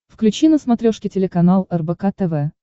включи на смотрешке телеканал рбк тв